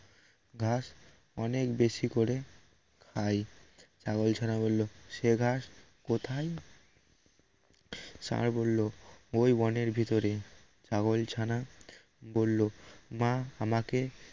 ঘাস অনেক বেশি করে খাই ছাগল ছানা বলল সে ঘাস কোথায় ষাঁড় বলল ওই বনের ভিতর ছাগলছানা করলো মা আমাকে